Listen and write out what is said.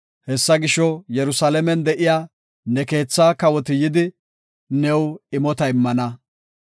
Hessa gisho, Yerusalaamen de7iya ne keetha kawoti yidi, new imota immana.